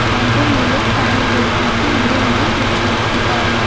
Counter ಮೇಲೆ ಫ್ಯಾನಿದೆ ಹಿಂದೆ ಒಂದು ಕುರ್ಚಿ ಇಟ್ಟಿದ್ದಾರೆ.